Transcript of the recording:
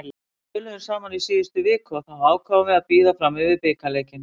Við töluðum saman í síðustu viku og þá ákváðum við að bíða fram yfir bikarleikinn.